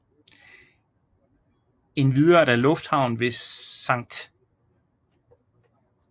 Endvidere er der lufthavnen ved St